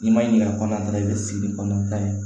N'i ma ɲininka kɔnɔ i bɛ sigi ni kɔnɔnan ta ye